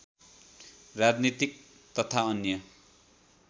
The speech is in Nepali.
राजनीतिक तथा अन्य